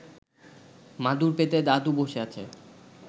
মাদুর পেতে দাদু বসে আছে